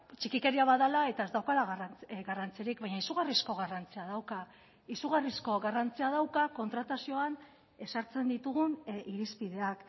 txikikeria bat dela eta ez daukala garrantzirik baina izugarrizko garrantzia dauka izugarrizko garrantzia dauka kontratazioan ezartzen ditugun irizpideak